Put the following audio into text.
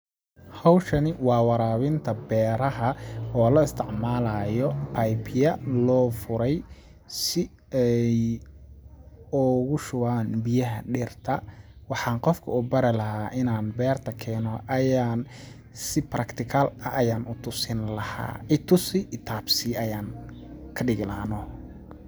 Hawshani waa waraabinta beeraha oo la isticmalaayo pipe ya loo furay ,si ay ogu shubaan biyaha dhirta ,waxaan qofka u bari lahaa inaan beerta keeno ayaan si practical ah aan u tusin lahaa itusi i taabsii ayaan ka dhigi lahaa noh.